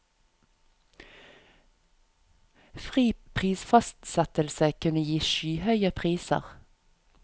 Fri prisfastsettelse kunne gi skyhøye priser.